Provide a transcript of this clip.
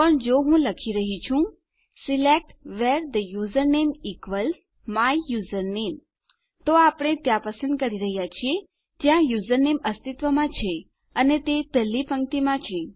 પણ જો હું લખી રહ્યો છું select where the username equals my username તો આપણે દેખીતી રીતે ફક્ત ત્યાં પસંદ કરી રહ્યા છીએ જ્યાં યુઝરનેમ અસ્તિત્વમાં છે અને તે 1 લી પંક્તિમાં છે